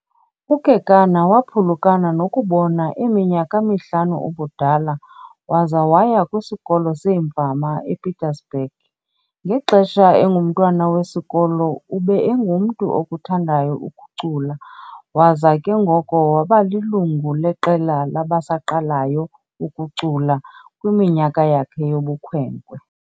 UKekana waphulukana nokubona eminyaka mihlanu ubudala, waza waya kwisikolo seemfama ePietersburg. ngexesha engumntwana wesikolo, ube engumntu okuthandayo ukucula, waza ke ngoko wabalilungu leqela labasaqalayo ukucula kwiminyaka yakhe yobukhwenkwe.